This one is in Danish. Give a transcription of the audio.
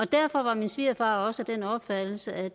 derfor var min svigerfar også af den opfattelse at